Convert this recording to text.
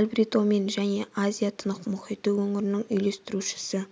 альбритомен және азия-тынық мұхиты өңірінің үйлестірушісі